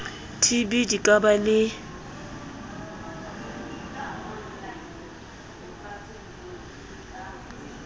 tb di ka ba le